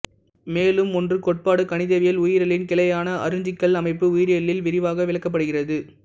மேலும் ஒன்று கோட்பாடு கணிதவியல் உயிரியலின் கிளையான அருஞ்சிக்கல் அமைப்பு உயிரியலில் விரிவாக விளக்கப்படுகிறது